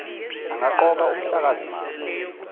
angaqoka umhlakazi mafa